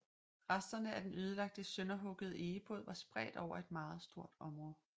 Resterne af den ødelagte sønderhuggede egebåd var spredt over et meget stort område